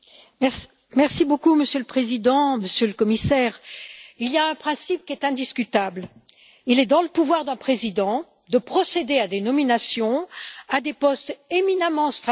Monsieur le Président, Monsieur le Commissaire, il y a un principe qui est indiscutable il est dans le pouvoir d'un président de procéder à des nominations à des postes éminemment stratégiques et politiques.